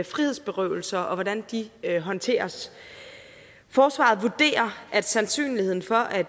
frihedsberøvelser og hvordan de håndteres forsvaret vurderer at sandsynligheden for at